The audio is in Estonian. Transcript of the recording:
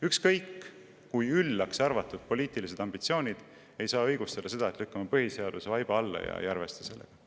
Ükskõik kui üllaks peetavad poliitilised ambitsioonid ei saa õigustada seda, et lükkame põhiseaduse vaiba alla ja ei arvesta sellega.